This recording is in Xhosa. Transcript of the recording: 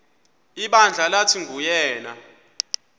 ibandla lathi nguyena